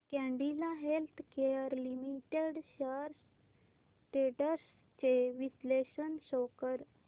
Cadila healthcare limited shares ट्रेंड्स चे विश्लेषण शो कर